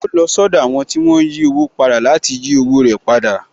Ó lọ sọ́dọ̀ àwọn tí wón ń yí owó padà láti yí owó rẹ̀ padà